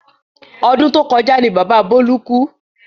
Ọdún to kọjá ní bàbá Bọlá kú